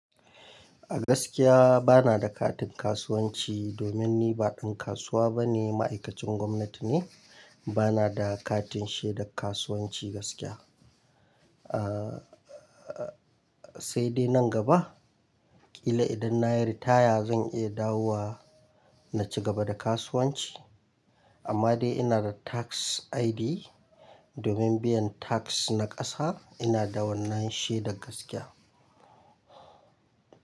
A gaskiya ba na da katin kasuwanci domin ni ba ɗan kasuwa ba ne, ma'aikacin gwamnati ne. Ba na da katin shaidar kasuwanci gaskiya. Sai dai nan gaba ƙila idan na yi ritaya zan iya dawowa na ci gaba da kasuwanci. Amma dai ina da tax ID domin biyan tax na ƙasa ina da wannan shi da gaskiya.